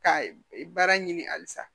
Ka baara ɲini halisa